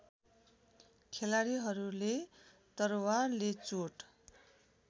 खेलाडीहरूले तरवारले चोट